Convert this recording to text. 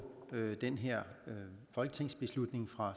den her folketingsbeslutning fra